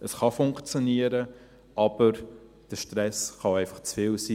Es kann funktionieren, aber der Stress kann auch einfach zu viel sein.